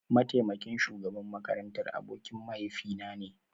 Mataimakin shugaban makarantar abokin mahaifinane